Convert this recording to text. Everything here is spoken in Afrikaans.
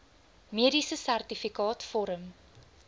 mediese sertifikaat vorm